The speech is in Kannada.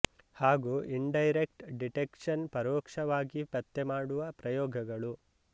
ಹಾಗು ಇನ್ ಡೈರೆಕ್ಟ್ ಡಿಟೆಕ್ಷನ್ ಪರೋಕ್ಷವಾಗಿ ಪತ್ತೆ ಮಾಡುವ ಪ್ರಯೋಗಗಳು